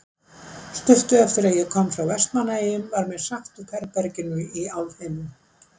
Stuttu eftir að ég kom frá Vestmannaeyjum var mér sagt upp herberginu í Álfheimum.